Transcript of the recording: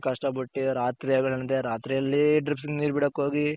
ಕಷ್ಟ ಪಟ್ಟಿ ರಾತ್ರಿ ಹಗಲ್ ಅಂದೇ ರಾತ್ರಿ ಅಲ್ಲಿ ಡ್ರಿಪ್ಸ್ಗೆ ನೀರ್ ಬಿಡಕ್ ಹೋಗಿ